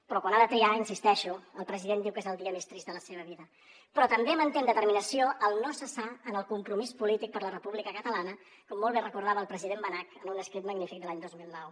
però quan ha de triar hi insisteixo el president diu que és el dia més trist de la seva vida però també manté amb determinació el no cessar en el compromís polític per la república catalana com molt bé recordava el president benach en un escrit magnífic de l’any dos mil nou